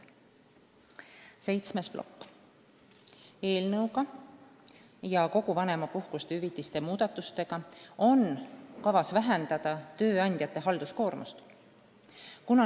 Seitsmes plokk: eelnõu kohaselt ning üldse kogu vanemapuhkuste ja hüvitiste muudatustega on kavas vähendada tööandjate halduskoormust.